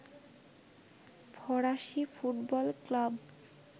ফরাসি football club